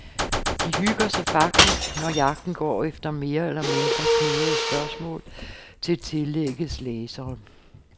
De hygger sig faktisk, når jagten går efter mere eller mindre knudrede spørgsmål til tillæggets læsere.